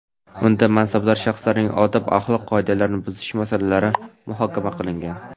unda mansabdor shaxslarning odob-axloq qoidalarini buzish masalalari muhokama qilingan.